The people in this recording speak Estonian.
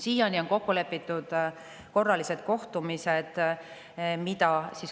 Siiani on kokku lepitud korralised kohtumised.